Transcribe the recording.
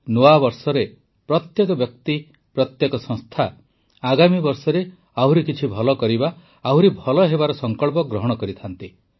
ନୂଆବର୍ଷରେ ପ୍ରତ୍ୟେକ ବ୍ୟକ୍ତି ପ୍ରତ୍ୟେକ ସଂସ୍ଥା ଆଗାମୀ ବର୍ଷରେ କିଛି ଆହୁରି ଭଲ କରିବା ଆହୁରି ଭଲ ହେବାର ସଂକଳ୍ପ ଗ୍ରହଣ କରିଥାନ୍ତି